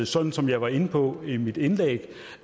sådan som jeg var inde på det i mit indlæg